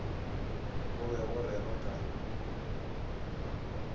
go be go rerwa ka